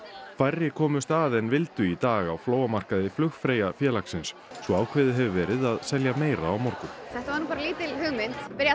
færri komust að en vildu í dag á flóamarkaði flugfreyja félagsins svo ákveðið hefur verið að selja meira á morgun þetta var bara lítil hugmynd